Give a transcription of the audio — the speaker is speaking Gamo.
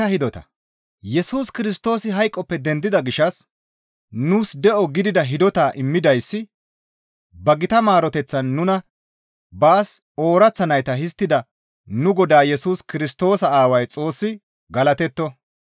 Yesus Kirstoosi hayqoppe dendida gishshas nuus de7o gidida hidota immidayssi ba gita maaroteththan nuna baas ooraththa nayta histtida nu Godaa Yesus Kirstoosa Aaway Xoossi galatetto.